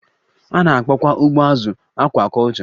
A na-akpọkwa ugbo azụ akwakọlchọ